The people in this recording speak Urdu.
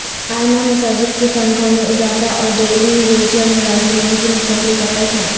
ائمہ مساجد کی تنخواہ میں اضافہ اور ڈیلی ویجرملازمین کی مستقلی کا فیصلہ